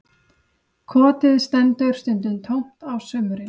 Kotið stendur stundum tómt á sumrin